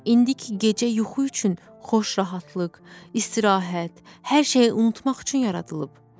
İndi ki gecə yuxu üçün xoş rahatlıq, istirahət, hər şeyi unutmaq üçün yaradılıb.